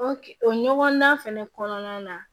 o ɲɔgɔnna fɛnɛ kɔnɔna na